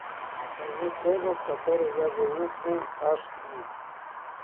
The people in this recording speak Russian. покажи кожа в которой я живу фулл аш ди